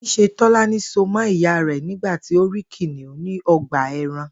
Ní s̩e Tó̩lání so mó̩ ìyá rè̩ nígbà tí ó rí kìnìún ní o̩gbà e̩ran